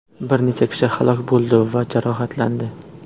Bir necha kishi halok bo‘ldi va jarohatlandi.